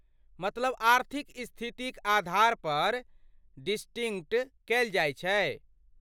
मतलब आर्थिक स्थिति क आधारपर डिसटिंक्ट कयल जाइ छै?